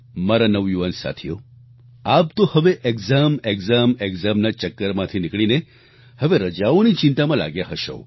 મારા નવયુવાન સાથીઓ આપ તો હવે એક્સામ એક્સામ એક્સામ ના ચક્કરમાંથી નીકળીને હવે રજાઓની ચિંતામાં લાગ્યા હશો